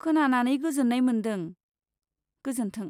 खोनानानै गोजोन्नाय मोन्दों, गोजोन्थों।